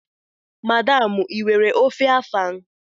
Madam, ị nwere ofe afang?